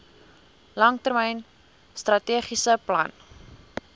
langtermyn strategiese plan